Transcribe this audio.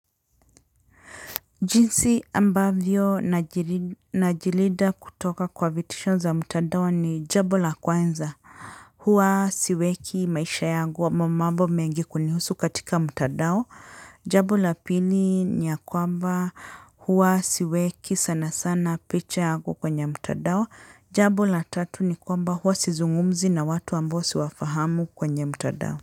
Jinsi ambavyo najilinda kutoka kwa vitisho za mtandao ni jambo la kwanza. Huwa siweki maisha yangu wa mambo mengi kunihusu katika mtandao. Jambo la pili ni ya kwamba huwa siweki sana sana picha yangu kwenye mtadao. Jambo la tatu ni kwamba huwa sizungumzi na watu ambao siwafahamu kwenye mtadao.